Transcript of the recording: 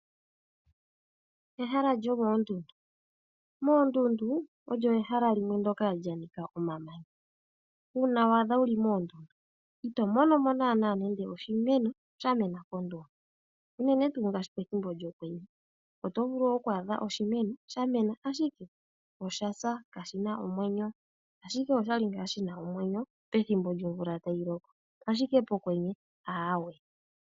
Ehala lyomoondundu Moondunda olyo ehala limwe ndyoka lya nika omamanya. Uuna wa adha wu li moondu ito mono mo nando oshimeno sha mena moondundu, unene pethimbo lyokwenye. Oto vulu oku adha oshimeno sha mena ashike osha sa kashi na omwenyo, ashike osha li ngaa shi na omwenyo pethimbo lyomvula tayi loko, ashike pokwenye, aawe.